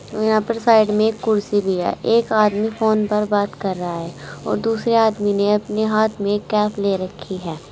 यहां पर साइड में एक कुर्सी भी है एक आदमी फोन पर बात कर रहा है और दूसरे आदमी ने अपने हाथ में कैप ले रखी है।